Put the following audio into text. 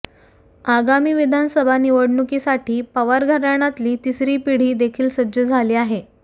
आगामी विधानसभा निवडणुकीसाठी पवार घराण्यातली तिसरी पिढी देखील सज्ज झाली आहे